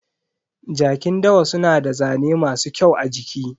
Jakin dawa suna da zane masu kyau a jiki.